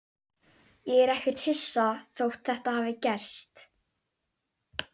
Ég er ekkert hissa þótt þetta hafi gerst.